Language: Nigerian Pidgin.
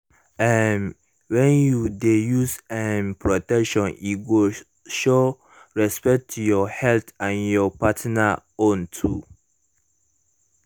um when you de use um protection e go show respect to your health and your partner own too